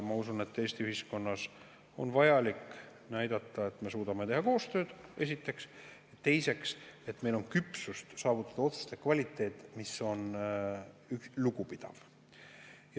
Ma usun, et Eesti ühiskonnas on vajalik näidata esiteks, et me suudame teha koostööd, ja teiseks, et meil on küpsust saavutada otsuste selline kvaliteet, mis on lugupidav.